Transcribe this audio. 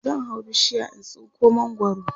zan hau bishiya in tsinko mangwaro